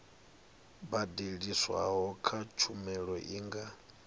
badeliswaho kha tshumelo i nga